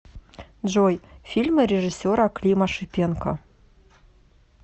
джой фильмы режиссера клима шипенко